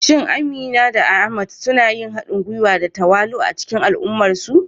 Shin Ahmad da Amina suna yin haɗin gwiwa da tawali'u a cikin al'ummarsu?